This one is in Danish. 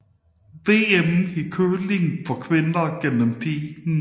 VM i curling for kvinder gennem tiden